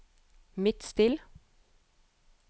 Midtstill